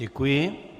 Děkuji.